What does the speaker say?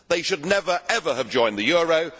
They should never have joined the euro.